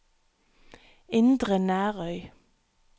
Indre Nærøy